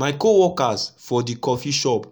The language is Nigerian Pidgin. my co workers for d coffee shop